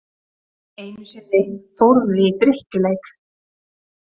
Einu sinni fórum við í drykkjuleik.